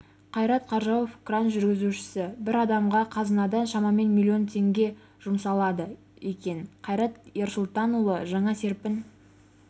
қайрат қаржауов кран жүргізушісі бір адамға қазынадан шамамен миллион теңге жұмсалады екен қайрат ерсұлтанұлы жаңа серпін